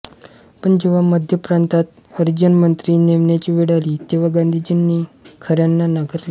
पण जेव्हा मध्य प्रांतात हरिजन मंत्री नेमण्याची वेळ आली तेव्हा गांधीजींनी खऱ्यांना नाकारले